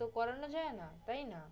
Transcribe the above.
তো করানো যায় না, তাই না?